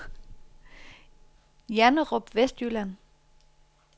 Janderup Vestjylland